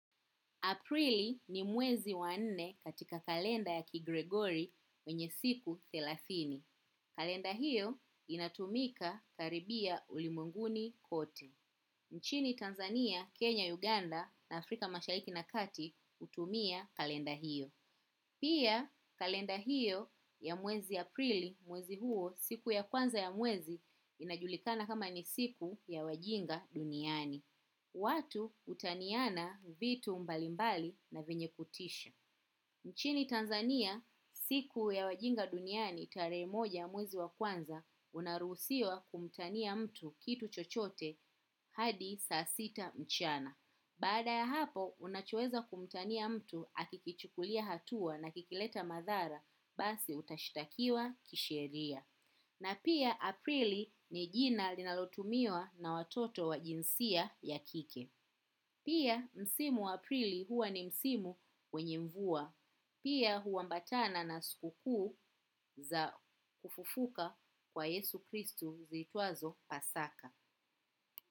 Aprili ni mwezi wa nne katika kalenda ya kigregori mwenye siku thelathini. Kalenda hiyo inatumika karibia ulimwenguni kote. Nchini Tanzania, Kenya, Uganda na Afrika mashariki na kati utumia kalenda hiyo. Pia kalenda hiyo ya mwezi Aprili mwezi huo siku ya kwanza ya mwezi inajulikana kama ni siku ya wajinga duniani. Watu utaniana vitu mbalimbali na venye kutisha. Nchini Tanzania, siku ya wajinga duniani tarehe moja muzi wa kwanza, unaruhusiwa kumtania mtu kitu chochote hadi saa sita mchana. Baada ya hapo, unachoweza kumtania mtu akikichukulia hatua na kikileta madhara, basi utashitakiwa kisheria. Na pia aprili ni jina linalotumiwa na watoto wa jinsia ya kike. Pia msimu wa aprili huwa ni msimu wenye mvua. Pia huwambatana na sukuku za kufufuka kwa Yesu Kristu ziitwazo pasaka.